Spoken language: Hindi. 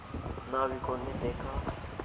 नाविकों ने देखा